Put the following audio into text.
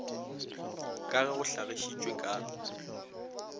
ka ge go hlagišitšwe ka